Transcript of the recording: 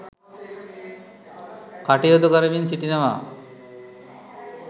කටයුතු කරමින් සිටිනවා.